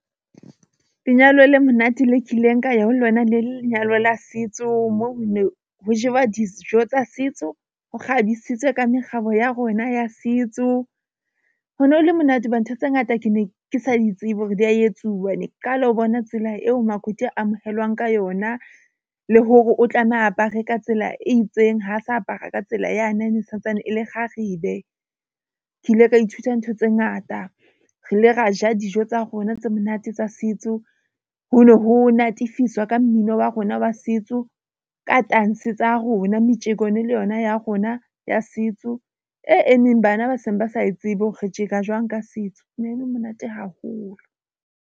Lenyalo le monate le kileng ka ya ho lona le lenyalo la setso, moo ho ne ho jewa dijo tsa setso ho kgabisitswe ka mekgabo ya rona ya setso. Ho ne ho le monate hoba ntho tse ngata ke ne ke sa di tsebe hore di ya etsuwa. Ne ke qala ho bona tsela eo makoti amohelwang ka yona le hore o tlameha a apare ka tsela e itseng, ha sa apara ka tsela yane yane e santsane e le kgarebe. Ke ile ka ithuta ntho tse ngata re ile ra ja dijo tsa rona tse monate tsa setso ho no ho natefiswa ka mmino wa rona wa setso, ka tanse tsa rona, metjeko ene le yona ya rona ya setso. E emeng bana ba seng ba sa e tsebe hore re tjeka jwang ka setso, ho ne ho le monate haholo.